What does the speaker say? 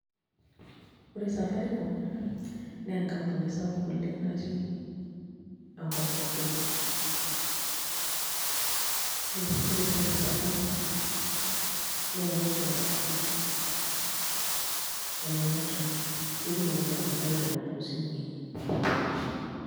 Ore Safaricom naa enkampuni sapuk oleng' natii enkop pookin, ore esiai e Safaricom naa enenkiroroto ene network pee etumoki iltung'anak airoro toosimuui.